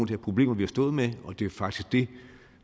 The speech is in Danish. problemer vi har stået med og det er faktisk det